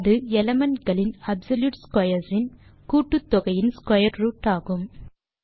அது எலிமெண்ட் களின் absolute squares இன் கூட்டுத்தொகையின் ஸ்க்வேர் ரூட் ஆகும்